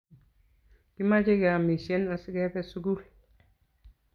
Kimache keyamishen asikepe sukul